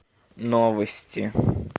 новости